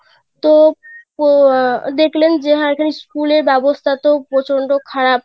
তো ও আহ দেখলেন যে এখানে school এর ব্যবস্থা তো প্রচন্ড খারাপ;